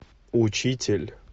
учитель